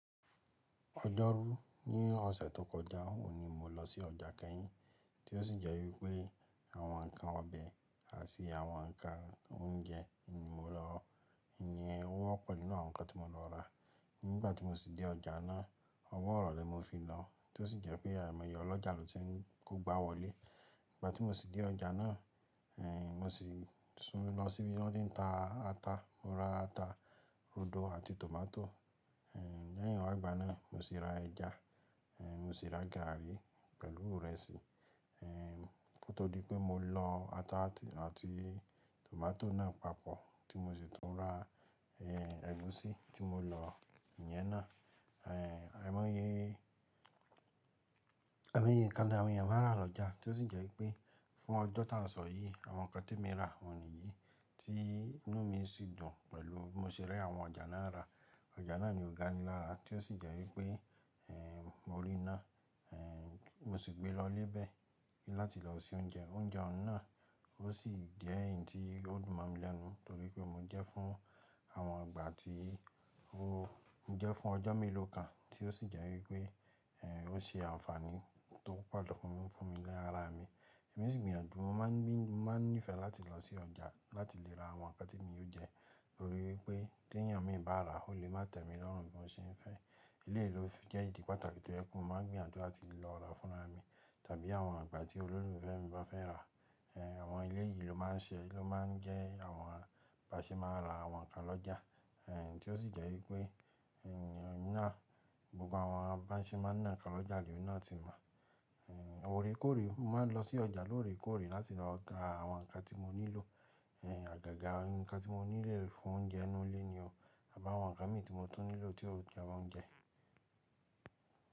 Ọjọ́ rú ní ọ̀sẹ̀ tó kọjá, òun ni mo lọ sí ọjà kẹ́yìn. Tí ó sì jẹ́ wípé àwọn ǹnkan ọbẹ̀ àti àwọn ǹnkan oúnjẹ ni mo lọ, ìyẹn wọ́pọ̀ nínú àwọn ǹnkan tí mo lọ rà. Nígbà tí mo sì dé ọjà náà, ọwọ́ ìrọ̀lẹ́ ni mo fi lọ, tí ó sì jẹ́ pé àìmọyẹ ọlọ́jà lọ́ ti ń kógbáwọlé. Ìgbà tí mo sì dé ọjà náà, eh mo sì sún lọ síbi tí wọ́n ti ń ta ata. Mo ra ata, rodo àti tòmátò. Eh lẹ́yìn wágbà náà, mo sì ra ẹja, eh mo sì ra gààrí pẹ̀lú ìrẹsì. Eh nítorí pé mo lọ ata àti tòmátò náà papọ̀, tí mo sì tún ra eh ẹ̀gúsí tí mo lọ, ìyẹn náà. Eh àìmọyẹ, àìmọye ǹnkan ní àwọn èèyàn máa ń rà lọ́jà. Tí ó sì jẹ́ pé fún ọjọ́ tá ń sọ yìí, àwọn nǹkan tí èmi rà wọ̀nyíi tí inú mi sì dùn pẹ̀lú bí mo ṣe rí àwọn ọjà náà rà. Ọjà náà ni ọ̀gá mi là rà, tí ó sì jẹ́ wípé eh mo rí iná, eh mo sì gbe lọ lébẹ̀ láti lọ se oúnjẹ. Oúnjẹ ohun náà ó sì jẹ́ ǹ tí ó dùn mọ́ mi lẹ́nu, torí pé mo jẹ fún àwọn ìgbà tí ó jẹ́ fún ọjọ́ mélòó kan, tí ó sì jẹ́ wípé eh ó ṣe àǹfààní tó pọ̀ lọ fún mi lára mi. Ẹ̀mí sì gbìyànjú, mo máa ń ní ìfẹ́ láti lọ sí ọjà láti lè ra àwọn ǹnkan tí èmi yóò jẹ, torí pé tí èèyàn mi bá rà ó lè má tẹ̀ mí lọ́rùn bí mo ṣe ń fẹ́. Eléyìí ló jẹ́ ìdí pàtàkì tó jẹ́ pé mo máa ń gbìyànjú láti lọ rà fúnra mi, tàbí àwọn ìgbà tí olólùfẹ́ mi bá fẹ́ rà. Eh àwọn ilé yìí ló máa ń ṣe, ló máa ń jẹ́ àwọn baṣe máa ń ra àwọn ǹnkan lọ́jà. Eh tí ó sì jẹ́ wípé eh iná gbogbo àwọn básẹ́ máa ń ná ǹnkan lọ́jà lí èmi náà tí mọ̀. Eh òrékòóré, mo máa ń lọ sí ọjà lóòrékòóré láti lọ ra àwọn ǹnkan tí mo nílò. Eh àgàgà ǹnkan tí mo nílò fún oúnjẹ inú ilé ni o. Àbí àwọn ǹnkan mi tí mo tún nílò tí ó jẹ́ oúnjẹ.